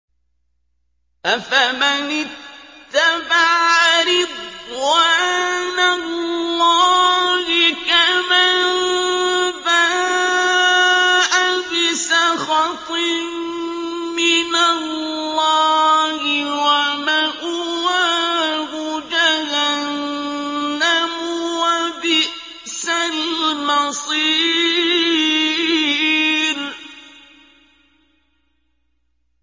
أَفَمَنِ اتَّبَعَ رِضْوَانَ اللَّهِ كَمَن بَاءَ بِسَخَطٍ مِّنَ اللَّهِ وَمَأْوَاهُ جَهَنَّمُ ۚ وَبِئْسَ الْمَصِيرُ